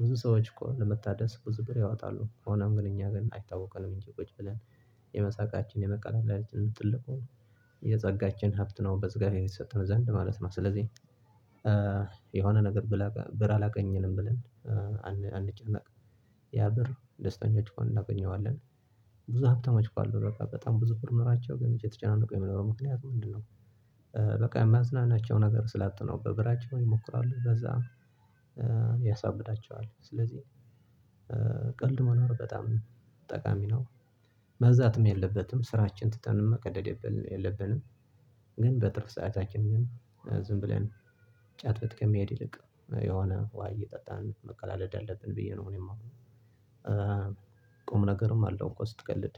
ብዙ ሰዎች እኮ ለመታደስ ብዙ ብር ያወጣሉ ሆኖም ግን እኛ ግን አይታወቅንም እንጂ ቁጭ ብለን የመሳቃችን የመቀላለዳችን ጥልቁን የጸጋችን ሀብት ነው በዝጋቤር የሰጠነው ዘንድ ማለት ነው ስለዚህ የሆነ ነገር ብር አላገኘንም ብለን አንጨነቅም ያ ብር ደስተኞች ሆነን እናገኘዋለን። ብዙ ሀብታም እኮ በቃ በጣም ብዙ ብር ኖሯቸው ግን እየተጨናነቁ የሚኖሩ ምክንያት ምንድነው በቃ የሚያዝናናቸው ነገር ስላጡ ነው። በብራቸው ይሞክራሉ በዛ ያሳብዳቸዋል ስለዚህ ቀልድ መኖር በጣም ጠቃሚ ነው። መብዛትም የለበትም ስራችን ትተንም መቀደድ የለብንም። ግን በትርፍ ሰዓታችን ግን ዝም ብለን ጫትቤት ከመሄድ ይልቅ የሆነ ውሃ እየጠጣን መቀላለድ አለብን ብዬ ነው ማምነው። ቁም ነገርም አለው እንቆ ስትቀልድ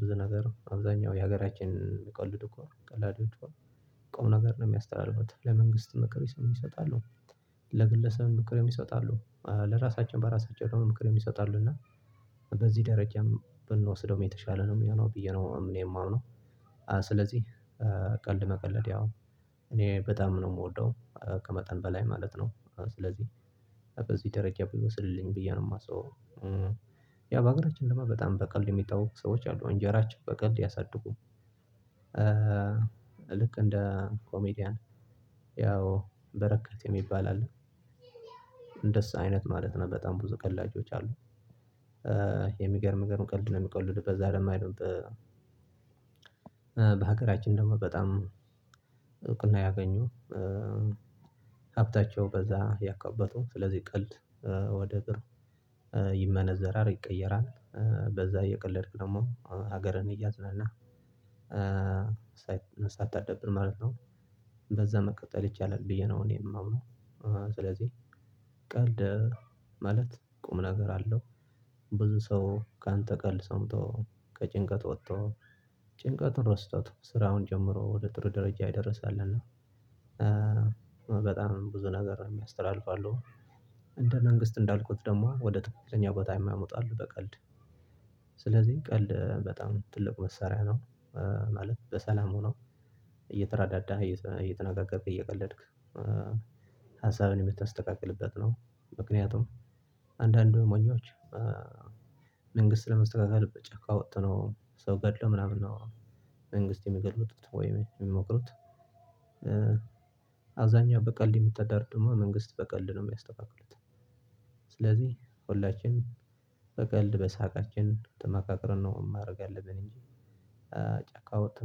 ብዙ ነገር አብዛኛው የሀገራችንን ቀልድ እኮ ነው ቀልድ እኮ ቁም ነገር ነው የሚያስተላልፋት ለመንግስት ምክር ይሰጣሉ። ለግለሰብ ምክር ይሰጣሉ ለራሳቸዎ በራሳቻው ምክር ይሰጣሉ እና በዚህ ደረጃም ብንወስደው የተሻለ ነው የሚሆነው ብዬ ነው እኔ የማምነው ስለዚህ ቀልድ መቀለድ ያው እኔ በጣም ነው የምወደው ከመጠን በላይ ማለት ነው። ስለዚህ በዚህ ደረጃ ይወስድልኝ ብዬ ነው የማስበው በአገራችን ልማድ በጣም በቀልድ የሚታወቁ ሰዎች አሉ አንጀራቸውን በቀልድ ያሳድጉ ልክ እንደ ኮሜዲያን ያው በረከት የሚባል አለ። እንደሱ አይነት ማለት ነው በጣም ብዙ ቀላጆች አሉ። የሚገርም የሚገርም ቀልድ ነው የሚቀልዱበት በዛ አይደለም በሀገራችን ደግሞ በጣም እውቅና ያገኙ ሀብታቸው በዛ ያካበቱ ስለዚህ ቀልድ ወደ ጥሩ ይመነዘራል ይቀየራል በዛ እየቀለድክ ደግሞ ሀገርን እያዝናናህ ማለት ነው በዛ መቀጠል ይቻላል ብዬ ነው እኔም አምነው ስለዚህ ቀልድ ማለት ቁም ነገር አለው። ብዙ ሰው ከአንተ ቀልድ ሰምቶ፤ ከጭንቀት ወጥቶ፤ ጭንቀቱን ረስቶት ስራውን ጀምሮ ወደ ጥሩ ደረጃ የደረሰ አለና በጣም ብዙ ነገር የሚያስተላልፉ አሉ። እንደ መንግስት እንዳልኩት ደግሞ ወደ ትክክለኛ ቦታ የሚያመጡ አሉ በቀልድ ስለዚህ ቀልድ በጣም ትልቅ መሳሪያ ነው። ማለት በሰላም ሆኖ እየተረዳዳ፤ እየተነጋገርክ፤ እየቀለድክ፤ ሀሳብን የምትተካከልበት ነው። ምክንያቱም አንዳንዱ ሞኞች መንግስት ለማስተካከል ጫካ ወጥቶነው ሰው ገድለው ምናምን ነው መንግስት ለመገልበጥ ወይ የሚሞክሩት አብዛኛው በቀልድ ነው የሚተዳደሩት መንግስት በቀልድ ነው የሚያስተካክሉት ስለዚህ ሁላችንም በቀልድ በሳቃችን ተመካክረን ነው ማደርግ ያለብን እንጂ ጫካወተን